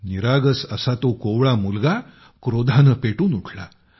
निरागस असा तो कोवळा मुलगा क्रोधाने पेटून उठला